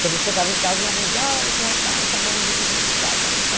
Quando eu chegava em casa, minha mãe dizia, olha, esse rapaz tão bonzinho, tão educado.